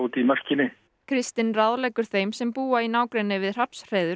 í mörkinni kristinn ráðleggur þeim sem búa í nágrenni við